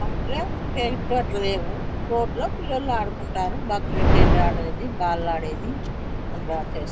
మా ఊరులో లేవు. రోడ్ మీద ఆడుకుంటారు క్రికెట్ ఆడేది బాల్ ఆడేది. అట్లా చేస్తారు.